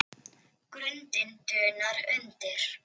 Grundin dunar undir.